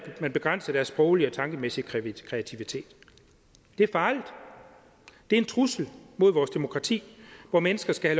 at man begrænser deres sproglige og tankemæssige kreativitet det er farligt det er en trussel mod vores demokrati hvor mennesker skal